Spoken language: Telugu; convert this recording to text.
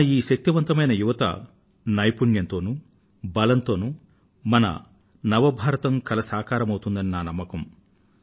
మన ఈ శక్తివంతమైన యువత నైపుణ్యంతో బలంతో మన న్యూ ఇండియా కల నెరవేరుతుందని నా నమ్మకం